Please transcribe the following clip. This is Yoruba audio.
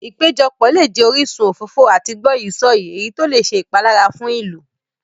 Ìpéjọpọ̀ lè jẹ orísun òfófó àti gbọ́yìí-sọ̀yìí, èyí tó lè ṣe ìpalára fún ìlú.